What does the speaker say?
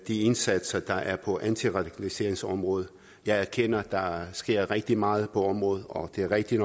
indsatser der er på antiradikaliseringsområdet jeg erkender at der sker rigtig meget på området og det er rigtig